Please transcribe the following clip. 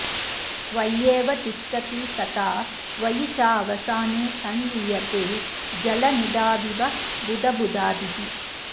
त्वय्येव तिष्ठति तथा त्वयि चावसाने संलीयते जलनिधाविव बुद्बुदादिः